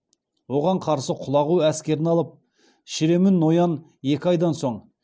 оған қарсы құлағу әскерін алып шіремүн ноян екі айдан соң